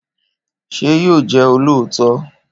Ṣé yóò jẹ olóòótọ?